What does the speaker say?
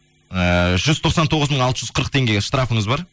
ыыы жүз тоқсан тоғыз мың алты жүз қырық теңгеге штрафыңыз ба